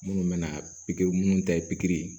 Minnu bɛna pikiri minnu ta ye pikiri